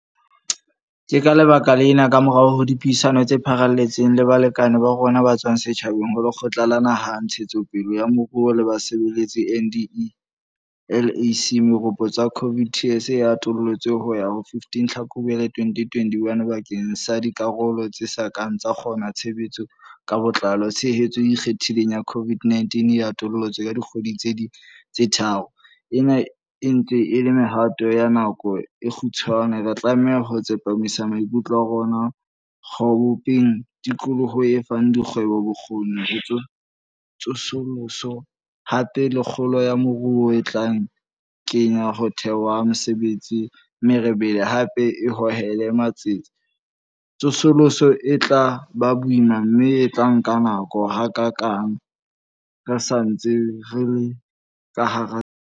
Ke ka lebaka lena, kamorao ho dipuisano tse pharaletseng le balekane ba rona ba tswang setjhabeng ho Lekgotla la Naha la Ntshetsopele ya Moruo le Basebetsi, NEDLAC, meropotso ya COVID TERS e atolotswe ho ya ho 15 Tlhakubele 2021 bakeng sa dikarolo tse sa kang tsa kgona tshebetso ka botlalo. Tshehetso e ikgethileng ya COVID e atolotswe ka dikgwedi tse ding tse tharo. Ena e ntse e le mehato ya nako e kgutshwane. Re tlameha ho tsepamisa maikutlo a rona ho bopeng tikoloho e fang dikgwebo bokgoni ba tsosoloso, hape le kgolo ya moruo e tla kenya ho thewa ha mesebetsi merebele, hape e hohele matsete. Tsosoloso e tla ba boima mme e tla nka nako, hakaakang re sa ntse re le ka hara sewa.